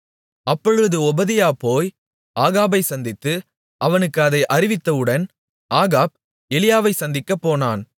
அப்பொழுது ஒபதியா போய் ஆகாபைச் சந்தித்து அவனுக்கு அதை அறிவித்தவுடன் ஆகாப் எலியாவைச் சந்திக்கப்போனான்